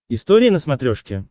история на смотрешке